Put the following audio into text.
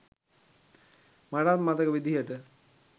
මටත් මතක විදිහට.